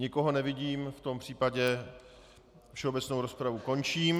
Nikoho nevidím, v tom případě všeobecnou rozpravu končím.